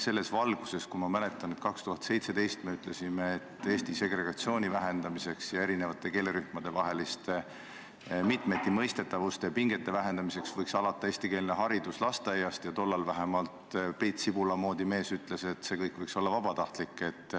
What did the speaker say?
Ma mäletan, et kui me 2017. aastal ütlesime, et Eestis segregatsiooni vähendamiseks ja erinevate keelerühmade vaheliste mitmetimõistetavuste ja pingete vähendamiseks võiks eestikeelne haridus alata lasteaiast, siis tollal vähemalt Priit Sibula moodi mees ütles, et see kõik võiks olla vabatahtlik.